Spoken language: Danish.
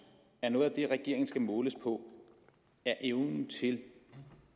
at noget af det regeringen skal måles på er evnen til